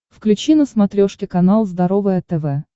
включи на смотрешке канал здоровое тв